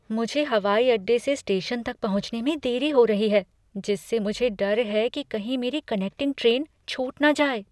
मुझे हवाई अड्डे से स्टेशन तक पहुंचने में देरी हो रही है जिससे मुझे डर है कि कहीं मेरी कनेक्टिंग ट्रेन छूट न जाए।